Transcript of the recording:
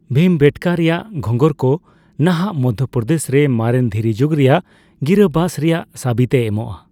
ᱵᱷᱤᱢᱵᱮᱴᱠᱟ ᱨᱮᱭᱟᱜ ᱜᱷᱚᱸᱜᱚᱨ ᱠᱚ ᱱᱟᱦᱟᱜ ᱢᱚᱫᱷᱚᱯᱨᱚᱫᱮᱥ ᱨᱮ ᱢᱟᱨᱮᱱ ᱫᱷᱤᱨᱤᱡᱩᱜ ᱨᱮᱭᱟᱜ ᱜᱤᱨᱟᱹᱵᱟᱥ ᱨᱮᱭᱟᱜ ᱥᱟᱹᱵᱤᱫ ᱮ ᱮᱢᱚᱜᱼᱟ ᱾